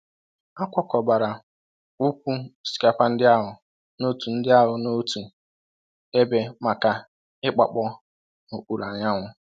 A kwakọbara ụkwụ osikapa ndị ahụ n'otu ndị ahụ n'otu ebe maka igbakpọọ n'okpuru anyanwụ.